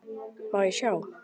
Má ég sjá?